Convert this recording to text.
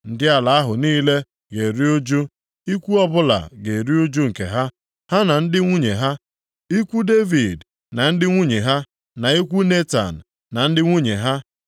Ndị ala ahụ niile ga-eru ụjụ. Ikwu ọbụla ga-eru ụjụ nke ha, ha na ndị nwunye ha. Ikwu Devid na ndị nwunye ha, na ikwu Netan na ndị nwunye ha,